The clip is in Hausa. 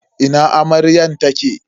Ina amaryar take?